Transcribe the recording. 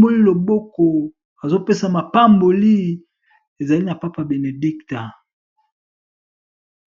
ndako ya zambe.